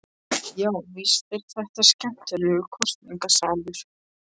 Já, víst var þetta skemmtilegur kosningaslagur.